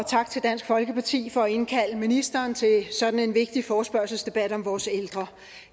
tak til dansk folkeparti for at indkalde ministeren til sådan en vigtig forespørgselsdebat om vores ældre